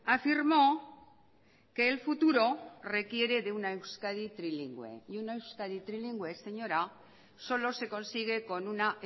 afirmó que el futuro requiere de una euskadi trilingüe y una euskadi trilingüe señora solo se consigue con una